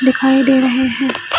दिखाई दे रहे है।